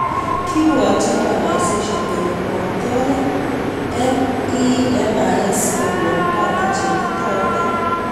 Kiibwatchin organisation kole matoret NEMIS kokon data cheititootin